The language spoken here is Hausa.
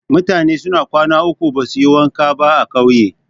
Mutane suna kwana uku basuyi wanka ba a ƙauye.